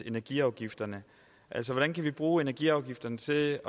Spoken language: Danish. energiafgifterne altså hvordan kan vi bruge energiafgifterne til